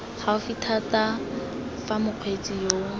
gaufi thata fa mokgweetsi yo